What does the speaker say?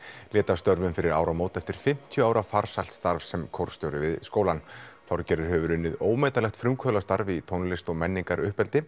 lét af störfum fyrir áramót eftir fimmtíu ára farsælt starf sem kórstjóri við skólann Þorgerður hefur unnið ómetanlegt frumkvöðulsstarf í tónlist og